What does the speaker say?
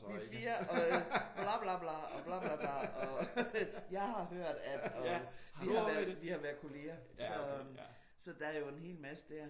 Vi er 4 og bla bla bla og bla bla bla og jeg har hørt at og vi har været kolleger. Så der er jo en helt masse der